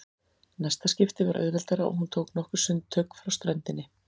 Næsta skipti var auðveldara og hún tók nokkur sundtök frá ströndinni.